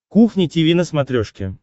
кухня тиви на смотрешке